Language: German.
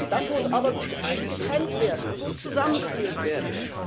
Das muss aber nicht getrennt werden, das muss zusammengeführt werden.